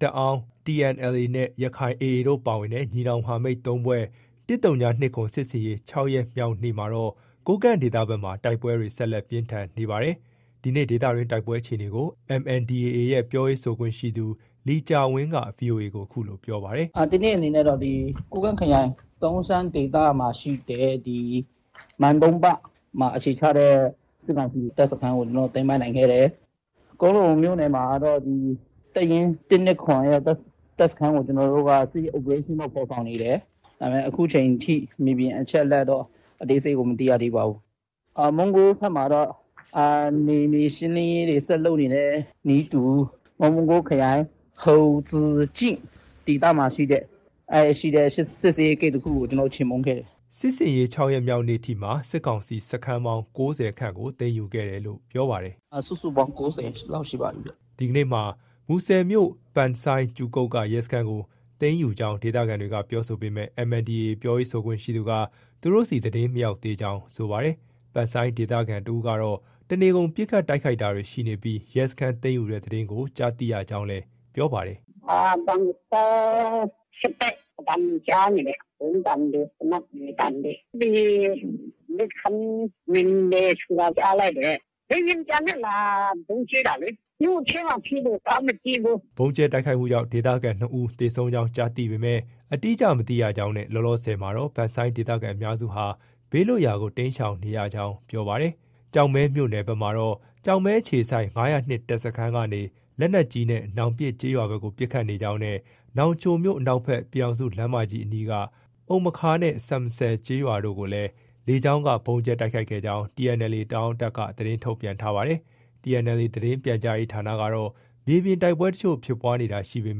တအာင်း(PSLF/ TNLA) နဲ့ ရက္ခိုင် ( ULA/AA ) တို့ပါဝင်တဲ့ ညီနောင် မဟာမိတ် ၃ ဖွဲ့ရဲ့ ၁၀၂၇ စစ်ဆင်ရေး ၆ ရက်မြောက်နေ့မှာတော့ ကိုးကန့်ဒေသဘက်မှာ တိုက်ပွဲတွေ ဆက်လက် ပြင်းထန်နေဆဲပါ။ ဒီနေ့ ဒေသတွင်းတိုက်ပွဲအခြေအနေကို MNDAA ရဲ့ ပြောရေးဆိုခွင့်ရှိသူ လီကျာဝင်းက VOA ကို အခုလို ပြောပါတယ်။ “ ဒီနေ့အခြေအနေကတော့ ကိုးကန့်ခရိုင် တုံရှန်းဒေသမှာရှိတဲ့ ဒီမန်တုံးပမှာ အခြေချတဲ့ စစ်ကောင်စီစခန်းကို ကျနော်တို့ သိမ်းပိုက်နိုင်ခဲ့တယ်။ ကွမ်းလုံမြို့နယ်မှာကတော့ တပ်ရင်း ၁၂၇ရဲ့ တပ်စခန်းကို ကျနော်တို့က စစ်ရေး Operation ဖော်ဆောင်နေတယ်။ ဒါပေမဲ့ အခုချိန်ထိ မြေပြင်သတင်းအသေးစိတ်ကတော့ မသိရသေးပါဘူး။ မုံးကိုးဘက်မှာတော့ နယ်မြေရှင်းလင်းရေးတွေ ဆက်လုပ်နေတဲ့ နည်းတူ မုံးကိုးခရိုင် ဟုန်ဇူကျိ ဒေသမှာရှိတဲ့ စစ်ဆေးရေး ဂိတ်တခုကို ကျနော်တို့ ချေမှုန်းခဲ့တယ်။” စစ်ဆင်ရေး ၆ ရက်မြောက်နေ့အထိမှာ စစ်ကောင်စီစခန်းပေါင်း ၉၀ခန့်ကို သိမ်းယူခဲ့တယ်လို့လည်း ပြောပါတယ်။ “ စုစုပေါင်း ၉၀လောက်ရှိပါပြီဗျ။” ဒီကနေ့မှာ မူဆယ်မြို့နယ် ပန်ဆိုင်း(ကြူကုတ်)က ရဲစခန်းကို သိမ်းယူကြောင်း ဒေသခံတွေက ပြောဆိုပေမဲ့ MNDAA ပြောရေးဆိုခွင့်ရှိသူက သူတို့ဆီ သတင်းမရောက်သေးကြောင်း ပြောပါတယ်။ ပန်ဆိုင်းဒေသခံတဦးကတော့ တနေ့ကုန် ပစ်ခတ်တိုက်ခိုက်တာတွေ ရှိနေပြီး ရဲစခန်း သိမ်းယူတဲ့ သတင်းကို ကြားသိရကြောင်း ပြောပါတယ်။ “ ပန်ဆိုင်း ဆက်တိုက်အသံတွေ ကြားနေတယ်။ ဗုံးသံတွေ သေနတ်သံတွေ၊ ဒီ ရဲစခန်းဝင်တယ် ဆိုတာကြားလိုက်တယ်။ လေယာဉ်ပျံနဲ့ လာဗုံးကြဲတာလေ။ မြို့ထဲမှာဖြစ်လို့ သွားမကြည့်ဘူး။ ” ဗုံးကြဲတိုက်ခိုက်မှုကြောင့် ဒေသခံ ၂ဦးသေဆုံးကြောင်း ကြားသိပေမဲ့ အတိအကျ မသိရကြောင်းနဲ့ လောလောဆည်မှာတော့ ပန်ဆိုင်းဒေသခံ အများစုဟာ ဘေးလွတ်ရာကို တိမ်းရှောင်နေကြောင်း ပြောပါတယ်။ ကျောက်မဲမြို့နယ်ဘက်မှာတော့ ကျောက်မဲအခြေစိုက် ၅၀၂ တပ်စခန်းကနေ လက်နက်ကြီးနဲ့ နောင်ပစ်ကျေးရွာဘက်ကို ပစ်ခတ်နေကြောင်း နဲ့ နောင်ချိုမြို့အနောက်ဘက် ပြည်ထောင်စုလမ်းမကြီး အနီးက အုမ်မခါးနဲ့ ဆမ်မဆယ်ကျေးရွာကိုလည်း လေကြောင်းက ဗုံးကြဲတိုက်ခိုက်ခဲ့ကြောင်း TNLA တအာင်းတပ်က သတင်းထုတ်ပြန်ထားပါတယ်။ TNLA သတင်းနဲ့ပြန်ကြားရေး ဌာနကတော့ မြေပြင်တိုက်ပွဲအချို့ဖြစ်ပွားတာရှိပေ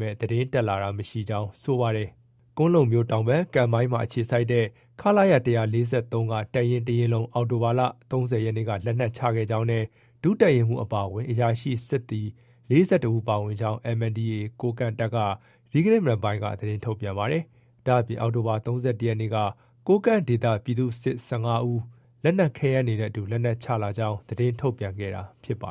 မဲ့ သတင်းတက်လာတာ မရှိသေးကြောင်း ပြောပါတယ်။ ကွမ်းလုံမြို့ တောင်ဘက်မှာ ကံမိုင်းမှာ အခြေစိုက်တဲ့ ခလရ ၁၄၃က တပ်ရင်း တရင်းလုံး အောက်တိုဘာလ ၃၀ရက်နေ့က လက်နက်ချခဲ့ကြောင်း နဲ့ ဒုတပ်ရင်းမှုးအပါအဝင် အရာရှိ စစ်သည် ၄၁ဦးပါဝင်ကြောင်း MNDAA ကိုးကန့်တပ်က ဒီကနေ့ မနက်ပိုင်းက သတင်းထုတ်ပြန်ပါတယ်။ ဒါ့အပြင် အောက်တိုဘာ ၃၁ရက်နေ့က ကိုးကန့်ဒေသက ပြည်သူ့စစ် ၁၅ဦး လက်နက်ခဲယမ်း တွေနဲ့အတူ လက်နက်ချလာကြောင်း သတင်းထုတ်ပြန်ခဲ့တာ ဖြစ်ပါတ